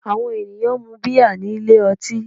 Àwọn ènìyàn ń mun bíà nílé ọtí